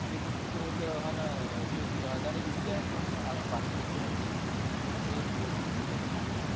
એક વસ્તુ તો હેક હાન જો અદાણી ડૂબી જહેં નતો તો ભારત ની economy ડૂબી જાહે. એવું મેં વોચયું હતું. report માં